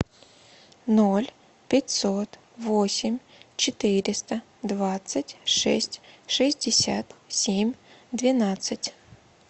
ноль пятьсот восемь четыреста двадцать шесть шестьдесят семь двенадцать